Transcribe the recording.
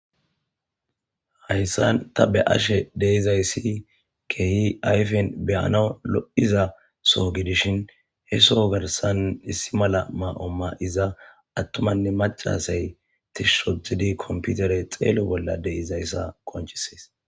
hayssan ta be ashe deizayssi kehi ayfen beyanaw lo'iza so gidishin he soo garsan issi mala ma'o maiza attumanne macaaasay tish otid komputere xeelo bolla deizayssa qonchisees